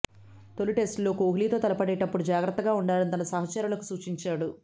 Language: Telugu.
తొలి టెస్టులో కోహ్లీతో తలపడేటప్పుడు జాగ్రత్తగా ఉండాలని తన సహచరులకు సూచించాడు